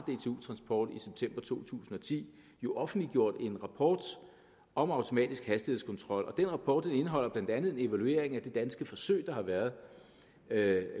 dtu transport i september to tusind og ti jo offentliggjort en rapport om automatisk hastighedskontrol og den rapport indeholder blandt andet en evaluering af det danske forsøg der har været med